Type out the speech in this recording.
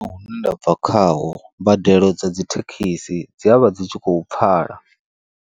Hune nda bva khaho, mbadelo dza dzithekhisi dzi avha dzi tshi khou pfhala.